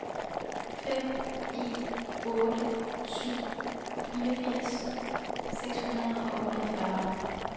fem en otte syv fireogfirs seks hundrede og otteogfyrre